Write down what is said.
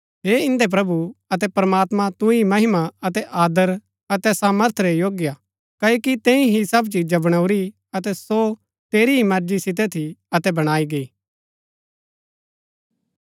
हे इन्दै प्रभु अतै प्रमात्मां तू ही महिमा अतै आदर अतै सामर्थ रै योग्य हा क्ओकि तैंई ही सब चिजा बणाऊरी अतै सो तेरी ही मर्जी सितै थी अतै बणाई गई